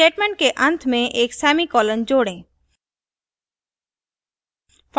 statement के अंत में एक semicolon जोड़ें